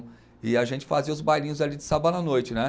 E a gente fazia os bailinhos ali de sábado à noite, né?